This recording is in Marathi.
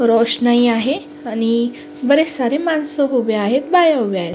रोषणाई आहे आणि बरेच सारे माणस उभे आहेत बाया उभ्या आहेत.